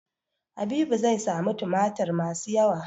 Habibu zai sami tumatir masu yawa.